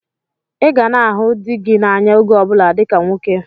Ị ga na-ahụ dị gị n'anya oge ọbụla dịka nwoke!